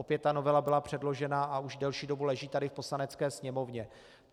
Opět ta novela byla předložena a už delší dobu leží tady v Poslanecké sněmovně.